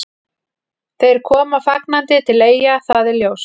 Þeir koma fagnandi til Eyja, það er ljóst.